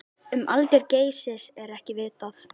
Um aldur Geysis er ekki vitað.